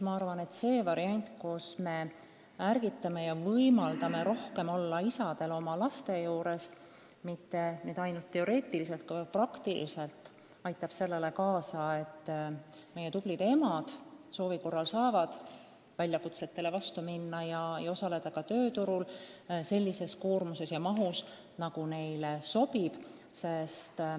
Ma arvan, et kui me võimaldame isadel rohkem oma laste juures olla – ja mitte ainult teoreetiliselt, vaid ka praktiliselt –, siis saavad meie tublid emad soovi korral väljakutsetele vastu astuda ja osaleda tööturul sellise koormusega, nagu neile sobib.